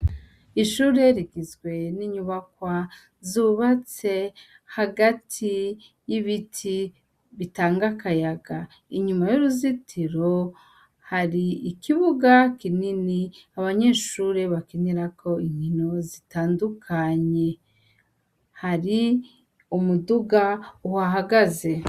Ishure rigizwe n'inyubakwa zubatse hagati y'ibiti bitanga akayaga. Inyuma y'uruzitiro hari ikibuga kinini, abanyeshure bakinirako inkino zitandukanye. Hari umuduga uhahagaze.